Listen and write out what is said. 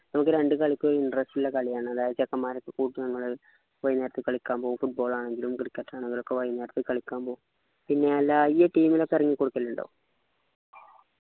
നമുക്ക് രണ്ടു കളിക്കും ഒരു interest ഇല്ല കളിയാണ് അതായത് ചെക്കമ്മാരെ ഒക്കെ കൂട്ടി നമ്മളു വൈന്നേരത്തെ കളിക്കാൻ പോക്കും football ആണെങ്കിലും cricket ആണെങ്കിലും ഒകെ വൈന്നേരൊക്കെ കളിയ്ക്കാൻ പോകും പിന്നെ അല്ല ഈയ്യ് team ലൊക്കെ ഇറങ്ങി കൊടുക്കലുണ്ടോ